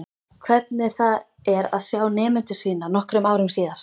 Hvernig það er að sjá nemendur sína nokkrum árum síðar.